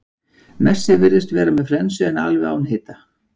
Messi virðist vera með flensu en er alveg án hita.